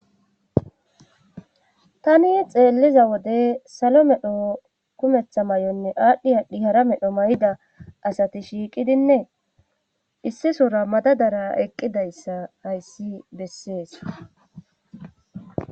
tani xeelliza wode salo medho kumeththa mayonne aadhdhi aadhdhi hara medho mayida asati shiiqidinne issisora madadara eqqidayssa hayssi bessees.